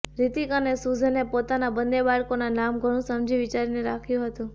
હ્રિતિક અને સુઝેને પોતાના બંને બાળકોના નામ ઘણું સમજી વિચારીને રાખ્યું હતું